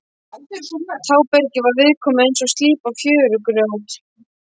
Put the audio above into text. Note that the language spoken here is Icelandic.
Tábergið var viðkomu eins og slípað fjörugrjót.